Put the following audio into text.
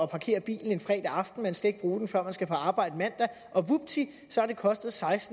parkere bilen en fredag aften man skal ikke bruge den før man skal på arbejde mandag og vupti så har det kostet